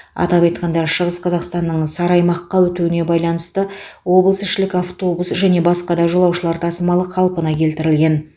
атап айтқанда шығыс қазақстанның сары аймаққа өтуіне байланысты облысішілік автобус және басқа да жолаушылар тасымалы қалпына келтірілген